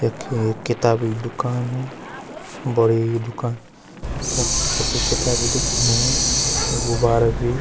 यख एक किताबै दूकान बड़ी दूकान तख छक्कै किताबे दिख्येण गुबारा भी।